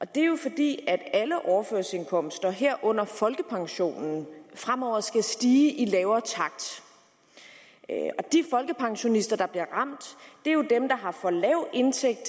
det er jo fordi alle overførselsindkomster herunder folkepensionen fremover skal stige i en lavere takt og de folkepensionister der bliver ramt er jo dem der har en for lav indtægt